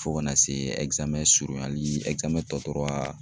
Fo kana se surunyali tɔ tora